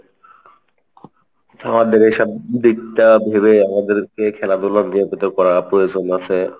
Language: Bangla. আমাদের এইসব দিকটা ভেবে আমাদেরকে খেলাধুলো নিয়মিত করা প্রয়োজন আছে।